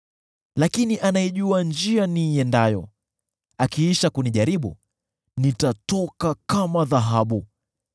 Lakini anaijua njia niiendeayo; akiisha kunijaribu, nitatoka kama dhahabu.